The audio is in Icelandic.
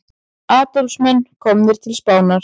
Andófsmenn komnir til Spánar